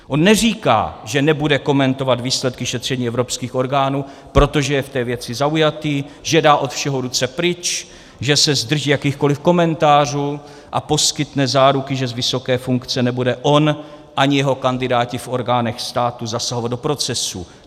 On neříká, že nebude komentovat výsledky šetření evropských orgánů, protože je v té věci zaujatý, že dá od všeho ruce pryč, že se zdrží jakýchkoliv komentářů a poskytne záruky, že z vysoké funkce nebude on ani jeho kandidáti v orgánech státu zasahovat do procesu.